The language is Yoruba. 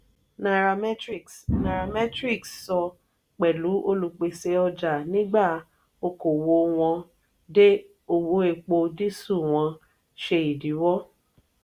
nairametrics nairametrics sọ pẹlú olupese ọjà nígbà okoowo wọn dé owó epo disu wọn ṣe idiwọ.